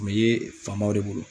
Kun be ye faamaw de bolo